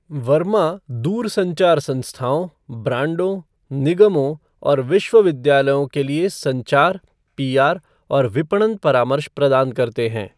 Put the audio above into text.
वर्मा दूर संचार संस्थाओं, ब्रांडों, निगमों और विश्वविद्यालयों के लिए संचार, पीआर और विपणन परामर्श प्रदान करते हैं।